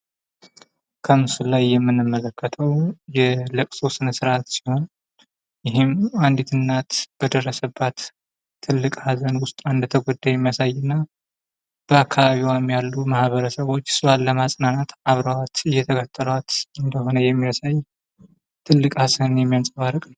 ከምስሉ ላይ የምንመለከተው የለቅሶ ስነ ስርዓት ሲሆን ይህም አንዲት እናት በደረሰባት ትልቅ ሃዘን ውስጥ ተጎድታ የሚያሳይ እና በ አካባቢዋ ያሉ ማህበርሰቦች እሷን ለማጽናናት አብረዋት እየተከተሏት እንደሆነ የሚያሳይ ትልቅ ሃሳብ የሚያንጸባርቅ ምስል ነው።